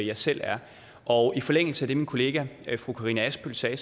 jeg selv er og i forlængelse af det min kollega fru karina adsbøl sagde